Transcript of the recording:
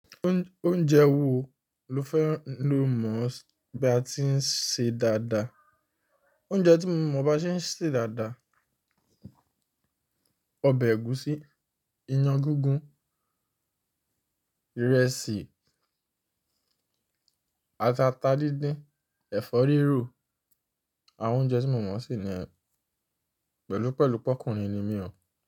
Óúnjẹ wo ló fẹ́ lò mọ̀ bí a ti ń se dáadáa? Óúnjẹ tí mo mọ̀ bá ṣe ń ṣe dáadáa, ọbẹ̀ ẹ̀gúsí, iyán gígún, ìrẹsì, àti ata díndín, ẹ̀fọ́ rírò. Àwọn óúnjẹ tí mo mọ̀ se nìyẹn pẹ̀lúpẹ̀lú pọ́kùnrin ni mìí ó.